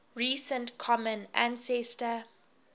recent common ancestor